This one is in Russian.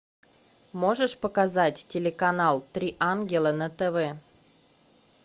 можешь показать телеканал три ангела на тв